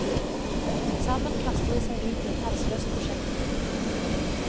Sammen kaster de seg ut i et halsløst prosjekt. punktum